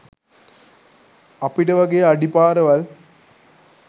අපිට වගේ අඩි පාරවල්